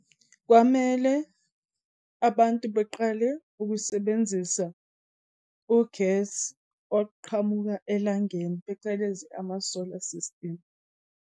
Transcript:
Kwamele abantu beqale ukusebenzisa ugesi oqhamuka elangeni, phecelezi ama-solar system.